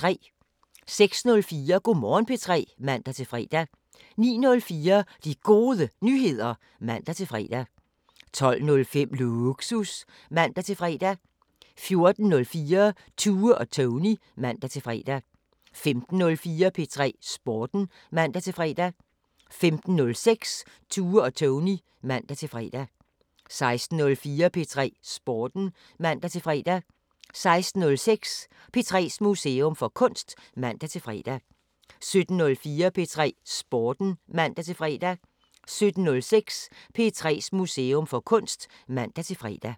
06:04: Go' Morgen P3 (man-fre) 09:04: De Gode Nyheder (man-fre) 12:05: Lågsus (man-fre) 14:04: Tue og Tony (man-fre) 15:04: P3 Sporten (man-fre) 15:06: Tue og Tony (man-fre) 16:04: P3 Sporten (man-fre) 16:06: P3's Museum for Kunst (man-fre) 17:04: P3 Sporten (man-fre) 17:06: P3's Museum for Kunst (man-fre)